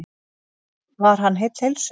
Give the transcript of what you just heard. Varð hann heill heilsu.